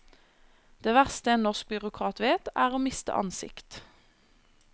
Det verste en norsk byråkrat vet, er å miste ansikt.